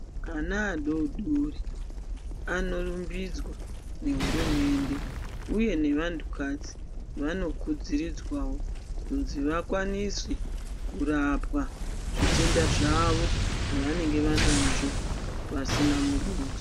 Ana adodori anorumbidzwa nehurumende uye nevantukadzi vanokudziridzwawo kunzi vakwanise kurapwa zvitenda zvawo zvavanenge vanazvo pasina muduso.